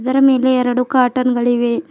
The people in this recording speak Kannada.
ಅದರ ಮೇಲೆ ಎರಡು ಕಾಟನ್ ಗಳಿವೆ.